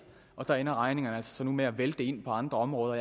og der ender regningerne så med at vælte ind på andre områder